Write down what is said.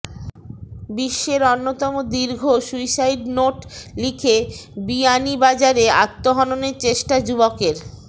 বিশ্বের অন্যতম দীর্ঘ সুইসাইড নোট লিখে বিয়ানীবাজারে আত্মহননের চেষ্টা যুবকের